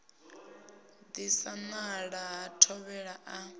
disa nala ha thovhele a